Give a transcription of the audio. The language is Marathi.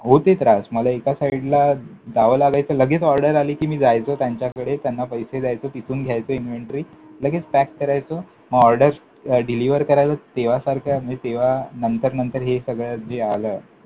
होते त्रास. मला SIDE ला जावं लागायचं, लगेच orders आली कि मी जायचो त्यांच्याकडे, त्यांना पैसे द्यायचो, तिथून घ्यायचो inventory, लगेच pack करायचो. मग orders deliver करायचो. तेव्हासारखं म्हणजे तेव्हा नंतर नंतर हे सगळं जे आलं